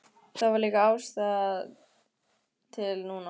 Það var líka ástæða til núna.